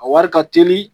A wari ka teli